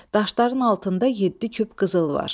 Daşların altında yeddi küp qızıl var.